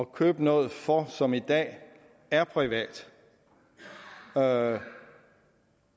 købe noget for som i dag er privat og